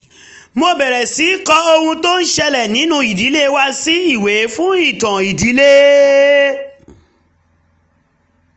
mo bẹ̀rẹ̀ sí í kọ ohun tó ń ṣẹlẹ̀ nínú ìdílé wa sí ìwé fún ìtàn ìdílé